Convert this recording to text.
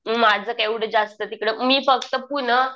माझं काय एवढं जास्त तिकडं मी फक्त पुणं